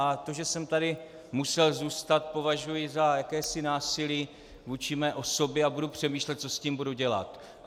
A to, že jsem tady musel zůstat, považuji za jakési násilí vůči mé osobě a budu přemýšlet, co s tím budu dělat.